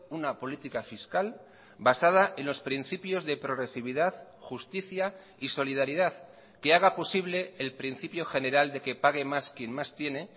una política fiscal basada en los principios de progresividad justicia y solidaridad que haga posible el principio general de que pague más quien más tiene